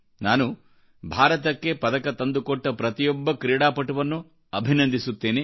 ನಾನು ಭಾರತಕ್ಕೆ ಪದಕತಂದುಕೊಟ್ಟ ಪ್ರತಿಯೊಬ್ಬ ಕ್ರೀಡಾಪಟುವನ್ನೂ ಅಭಿನಂದಿಸುತ್ತೇನೆ